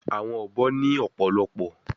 Awọn obo ni ọpọlọpọ